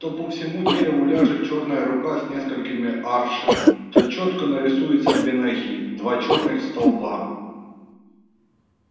то по всему дереву ляжет чёрная рука с несколькоми аршин то чётко нарисуются две ноги два черных столба